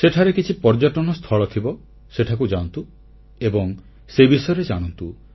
ସେଠାରେ କିଛି ପର୍ଯ୍ୟଟନସ୍ଥଳ ଥିବ ସେଠାକୁ ଯାଆନ୍ତୁ ଏବଂ ସେ ବିଷୟରେ ଜାଣନ୍ତୁ